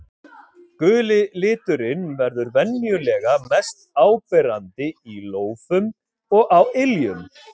Guli liturinn verður venjulega mest áberandi í lófum og á iljum.